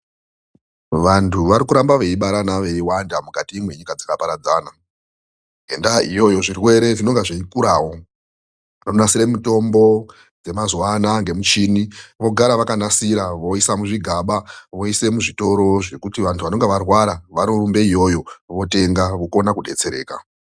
Vantu vari kuramba veibarana veiwanda mukati mwenyika dzakaparadzana. Ngendaa iyoyo zvirwere zvinonga zveikurawo. Vanonasire mitombo dzemazuwa anaa ngemishini vogara vakanasira ,voisa muzvigaba voisa muzvitoro zvekuti vantu vanenge varwara vanorumba iyoyo votenga vokona kudetsereka.